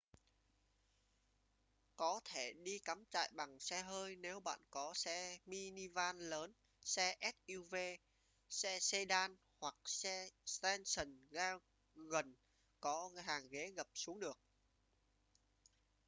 có thể đi cắm trại bằng xe hơi nếu bạn có xe minivan lớn xe suv xe sedan hoặc xe station wagon có hàng ghế gập xuống được